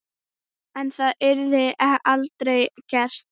En það yrði aldrei gert.